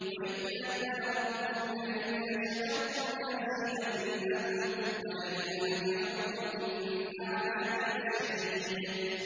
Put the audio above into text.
وَإِذْ تَأَذَّنَ رَبُّكُمْ لَئِن شَكَرْتُمْ لَأَزِيدَنَّكُمْ ۖ وَلَئِن كَفَرْتُمْ إِنَّ عَذَابِي لَشَدِيدٌ